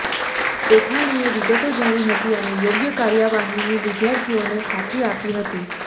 પેથાણીએ વિગતો જાણી હતી અને યોગ્ય કાર્યવાહીની વિદ્યાર્થીઓને ખાતરી આપી હતી